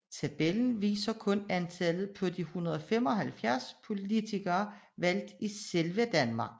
Tabellen viser kun antallet på de 175 politikere valgt i selve Danmark